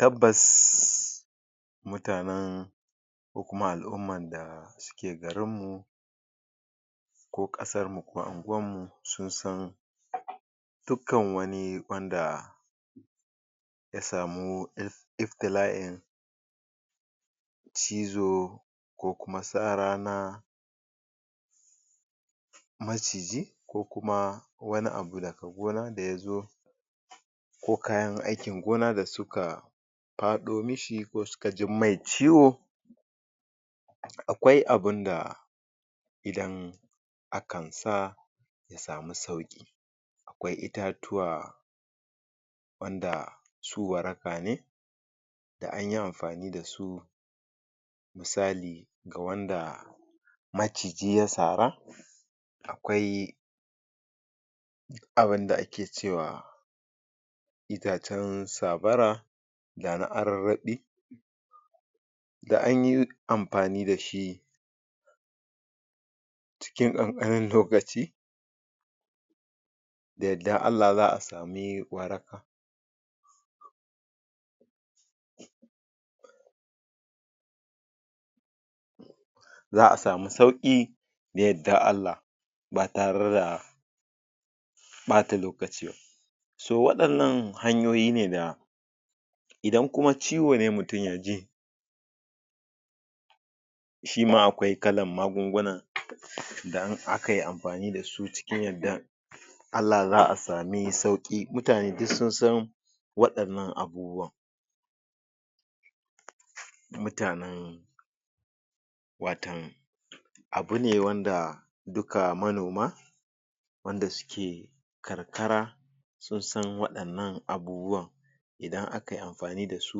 Tabbas mutanen ko kuma al'umman da suke garinmu ko ƙasarmu ko anguwanmu sun san dukkan wani wanda ya samu? iftila'in cizo ko kuma sara na maciji ko kuma wani abu daga gona da ya zo ko kayan aikin gona da suka faɗo mishi ko suka ji mai ciwo akwai abunda idan akan sa ya samu sauƙi akwai itatuwa wanda su waraka ne da anyi amfani da su misali ga wanda maciji ya sara akwai abunda ake cewa itacen sabara ga na ararraɓi da anyi amfani da shi cikin ƙanƙanin lokaci da yaddan Allah za a sami waraka za a samu sauƙi da yaddan Allah ba tare da ɓata lokaci ba so waɗannan hanyoyi ne da Idan kuma ciwo ne mutum ya ji shima akwai kalan magunguna da in aka yi amfani da su cikin yaddan Allah za a samu sauƙi. mutane duk sun san waɗannan abubuwa mutanen watau abune wanda dukka manoma wanda suke karkara sun san waɗannan abubuwan idan aka yi amfani da su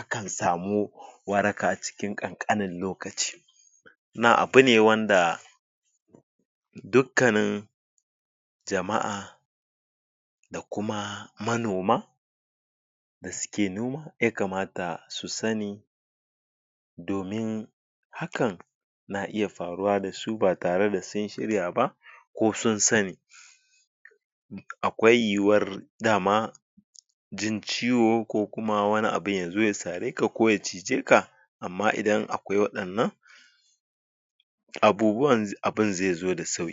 akan samu waraka a cikin ƙanƙanin lokaci na abune wanda dukkanin jama'a da kuma manoma da suke noma ya kamata su sani domin hakan na iya faruwa da su ba tare da sun shirya ba ko sun sani akwai yiwuwar dama jin ciwo ko kuma wani abun yazo ya sare ka ko ya cije ka amma idan akwai waɗannan abubuwa abun zai zo da sauƙi.